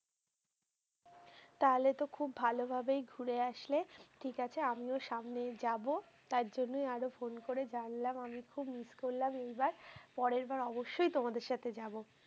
তাহলে তো খুব ভালোভাবেই ঘুরে আসলে। ঠিক আছে, আমিও সামনে যাবো। তার জন্যই আরো phone করে জানলাম। আমি খুব miss করলাম এইবার। পরেরবার অবশ্যই তোমাদের সাথে যাবো।